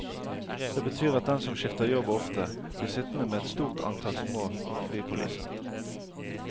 Det betyr at den som skifter jobb ofte, blir sittende med et stort antall små fripoliser.